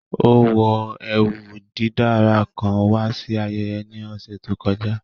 Ó wọ ẹwú dídára kán wà sí àyẹ̀yẹ̀ ní ọṣẹ̀ tó kọ̀jà